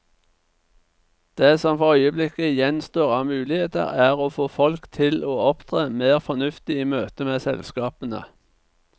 Det som for øyeblikket gjenstår av muligheter, er å få folk til å opptre mer fornuftig i møtet med selskapene.